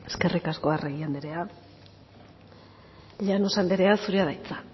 esker eskerrik asko arregi andrea llanos andrea zurea da hitza